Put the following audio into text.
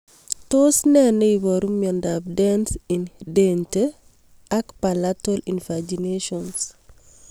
Tos nee neiparu miondop Dens in dente and palatal invaginations